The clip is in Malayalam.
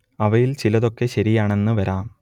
അവയിൽ ചിലതൊക്കെ ശരിയാണെന്ന് വരാം